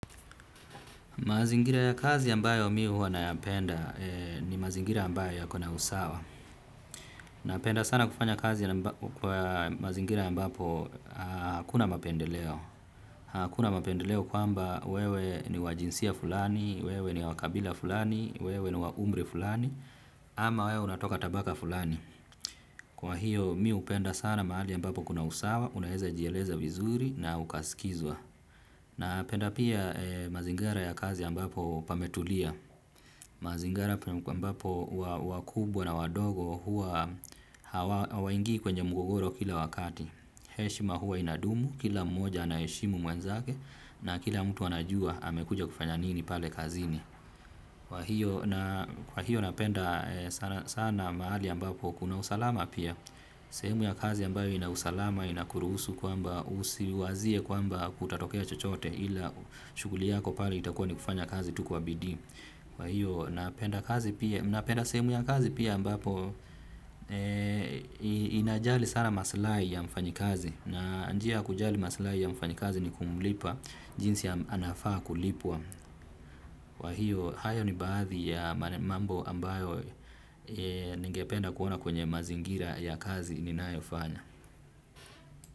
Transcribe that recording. Mazingira ya kazi ambayo mi huwa wanayapenda ni mazingira ambayo yako na usawa. Napenda sana kufanya kazi ambayo kwa mazingira ambapo hakuna mapendeleo. Hakuna mapendeleo kwamba wewe ni wa jinsia fulani, wewe ni wakabila fulani, wewe ni wa umri fulani, ama wewe unatoka tabaka fulani. Kwa hiyo mi upenda sana mahali ambapo kuna usawa, unaweza jieleza vizuri na ukaskizwa. Na penda pia mazingira ya kazi ambapo pametulia. Mazingira ambapo wakubwa na wadogo hua hawaingii kwenye mgogoro kila wakati. Heshima hua inadumu kila mmoja anaheshimu mwenzake na kila mtu anajua amekuja kufanya nini pale kazini. Kwa hiyo napenda sana mahali ambapo kuna usalama pia sehemu ya kazi ambayo ina usalama ina kuruhusu kwamba usiwazie kwamba kutatokea chochote ila shuguli yako pale itakuwa ni kufanya kazi tu kwa bidii. Kwa hiyo napenda kazi pia napenda sehemu ya kazi pia ambapo inajali sana maslai ya mfanyakazi na njia kujali maslai ya mfanyakazi ni kumulipa jinsi anafaa kulipwa kwahiyo hayo ni baadhi ya mambo ambayo ningependa kuona kwenye mazingira ya kazi ninayo fanya.